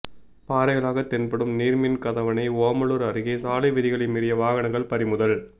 பாறைகளாக தென்படும் நீர்மின் கதவணை ஓமலூர் அருகே சாலை விதிகளை மீறிய வாகனங்கள் பறிமுதல்